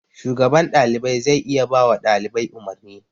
Shugaban ɗalibai zai iya bawa ɗalibai umarni.